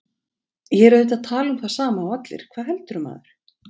Ég er auðvitað að tala um það sama og allir, hvað heldurðu, maður?